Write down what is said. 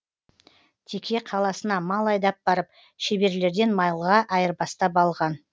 теке қаласына мал айдап барып шеберлерден малға айырбастап алған